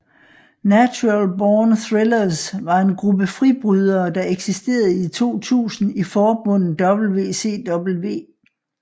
Natural Born Thrillers var en gruppe fribrydere der eksisterede i 2000 i forbundet WCW